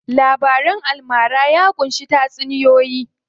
Labaran almara ya ƙunshi tatsuniyoyi.